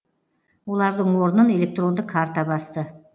олардың орнын электронды карта басты